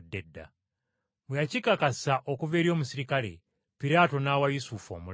Bwe yakikakasa okuva eri omuserikale, Piraato n’awa Yusufu omulambo.